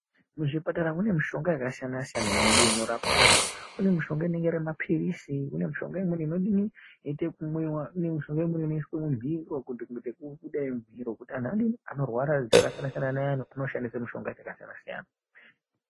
Muzvipatara mune mishonga yakasiyanasiyana inodini inorape anhu ,kune mishonga inenge irimapilizi, kune mishonga imweni inoitwe yekumwiwa, kune mishonga imweni inoiswe mumiro kuite yekuda i mumiro kuti anhu adini, anoshandise mishonga yakasiyanasiyana.